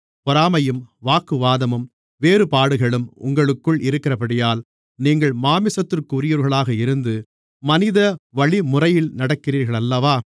பொறாமையும் வாக்குவாதமும் வேறுபாடுகளும் உங்களுக்குள் இருக்கிறபடியால் நீங்கள் மாம்சத்திற்குரியவர்களாக இருந்து மனித வழிமுறையில் நடக்கிறீர்களல்லவா